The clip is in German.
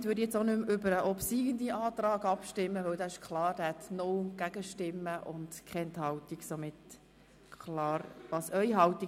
ich werde daher nicht über den obsiegenden Antrag abstimmen lassen.